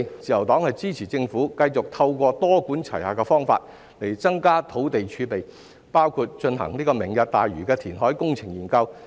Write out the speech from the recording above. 自由黨支持政府繼續透過多管齊下的方法增加土地儲備，包括進行"明日大嶼"的填海工程研究。